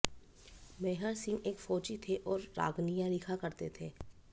मेहर सिंह एक फौजी थे और रागनियां लिखा करते थे